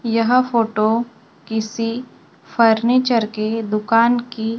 यह फोटो किसी फर्नीचर की दुकान की--